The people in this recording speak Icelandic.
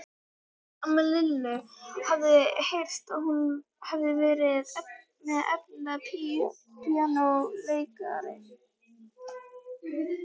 Amma Lillu hafði heyrt að hún hefði verið efnilegur píanóleikari.